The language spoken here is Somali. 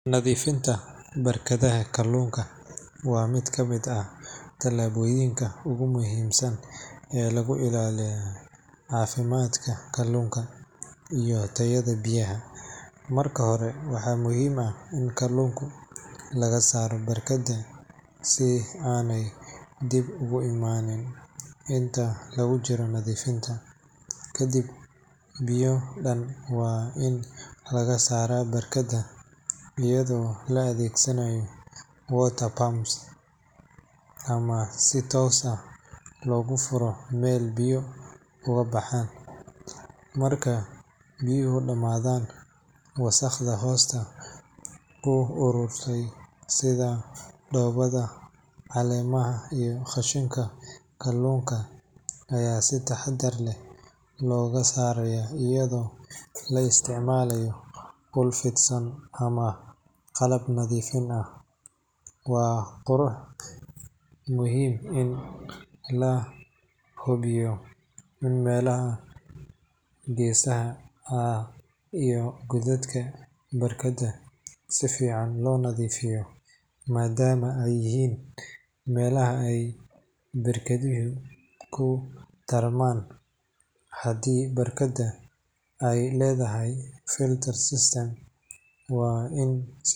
Nadiifinta barkaadhaha kalunka waa mid ka mid ah taalaboyinkq ugu muhimsan ee lagu ii ilaaliyo cafimadka kalunka iyo taayaha biyaha marka hore waxa muhim ah in kalunku laga saaro barkada sii aan dib ugu iimanin intaa aan lagu jiro nadiifinta kadib biyo daan wa in laga sara barkaada iyadho laa adheegsaanayo Water Pumps ama si toosa lagu fuuro mel biyo ugu baxan marka biyohu daamadhan wasaqda hoosta ugu arurtay sidhaa dowaada caliimaha iyo qashiinka kalunka aya sii taahadar ah lago saaraya iyadho la isticmaalayo dhul fiidsan ama qaalab waa qurux muhim ah in lahubiyo in melaaxa gesaha ah iyo godaadka barkada sifiican lonaadiifiyo maadama eey yihin melaxa barkaadhoho tarman haadi barkaada ey ledahay Filter Systemcs] waa in.